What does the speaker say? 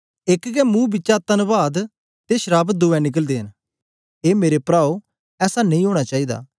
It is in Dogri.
एक गै मुंह बिचा तन्वाद ते श्राप दुए निकलदे न ए मेरे प्राओ ऐसा नेई ओना चाईदा